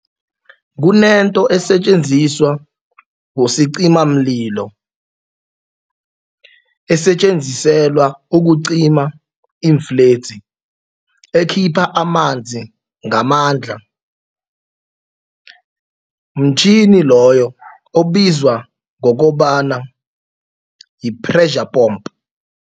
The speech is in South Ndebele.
Kunento esisetjenziswa bosicimamlilo esetjenziselwa ukucima iimfledzi ekhipha amanzi ngamandla mtjhini loyo obizwa ngokobana yi-pressure pomp.